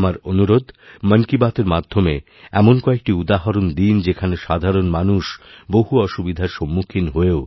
আমার অনুরোধ মন কি বাতএর মাধ্যমে এমন কয়েকটিউদাহরণ দিন যেখানে সাধারণ মানুষ বহু অসুবিধার সম্মুখীন হয়েও